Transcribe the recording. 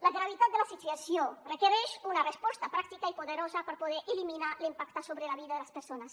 la gravetat de la situació requereix una resposta pràctica i poderosa per poder eliminar l’impacte sobre la vida de les persones